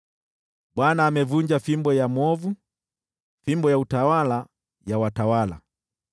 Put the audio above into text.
Bwana amevunja fimbo ya mwovu, fimbo ya utawala ya watawala,